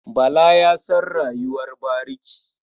Bala ya san rayuwar bariki.